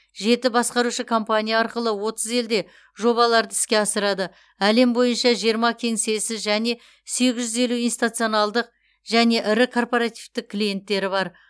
жеті басқарушы компания арқылы отыз елде жобаларды іске асырады әлем бойынша жиырма кеңсесі және сегіз жүз елу институционалдық және ірі корпоративтік клиенттері бар